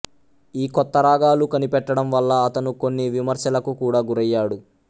ఈ కొత్త రాగాలు కనిపెట్టడం వల్ల అతను కొన్ని విమర్శలకు కూడా గురయ్యాడు